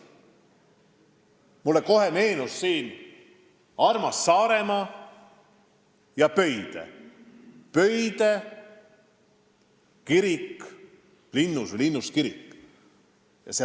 Mulle kohe meenus armas Saaremaa ja Pöide linnuskirik.